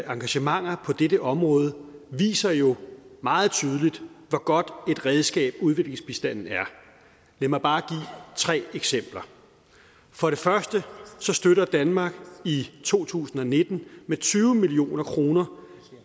engagementer på dette område viser jo meget tydeligt hvor godt et redskab udviklingsbistanden er lad mig bare give tre eksempler for det første støtter danmark i to tusind og nitten med tyve million kroner